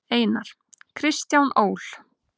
Einar: Kristján Ól.